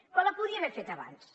però la podia haver fet abans